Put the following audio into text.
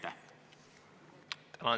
Tänan!